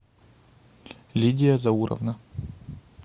лидия зауровна